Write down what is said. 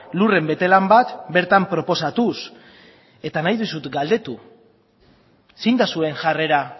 lurren betelan bat bertan proposatuz eta nahi dizut galdetu zein da zuen jarrera